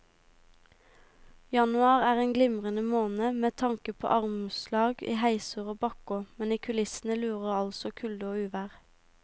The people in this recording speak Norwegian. Januar er en glimrende måned med tanke på armslag i heiser og bakker, men i kulissene lurer altså kulde og uvær.